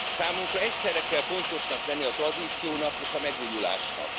Számunkra egyszerre kell fontosnak lenni a tradíciónak és a megújulásnak.